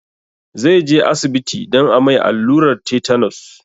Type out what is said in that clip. Zai je asibiti don a mai allurar tetanus